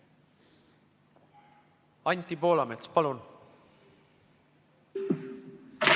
Anti Poolamets, palun!